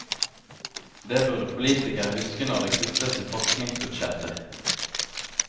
Det burde politikere huske når det kuttes i forskningsbudsjetter.